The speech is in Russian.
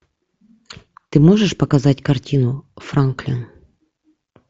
ты можешь показать картину франклин